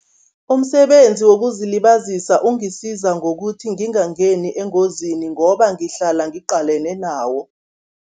Umsebenzi wokuzilibazisa ungisiza ngokuthi ngingangeni engozini, ngoba ngihlala ngiqalene nawo.